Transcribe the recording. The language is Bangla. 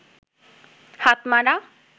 হাতমারা